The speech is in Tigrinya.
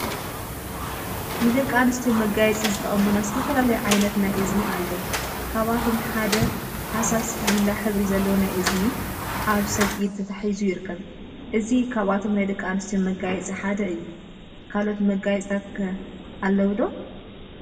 ንደቂ አንስትዮ መጋየፂ ዝጠቅሙና ዝተፈላለዩ ዓይነት ናይ እዝኒ አለው፡፡ ካብአቶም ሓደ ሃሳስ ሊላ ሕብሪ ዘለዎ ናይ እዝኒ አብ ሰብ ኢድ ተታሒዙ ይርከብ፡፡ እዚ ካብቶም ናይ ደቂ አንስትዮ መጋየፂ ሓደ እዩ፡፡ ካልኦት መጋየፂታት ኸ አለው ዶ?